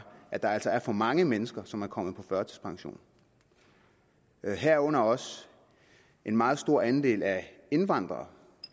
at der altså er for mange mennesker som er kommet på førtidspension herunder også en meget stor andel af indvandrere